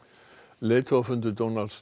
leiðtogafundur Donalds